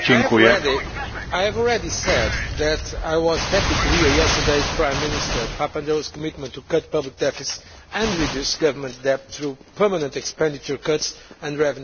I have already said that I was happy to hear yesterday Prime Minister Papandreou's commitment to cut the public deficit and reduce government debt through permanent expenditure cuts and revenue increases.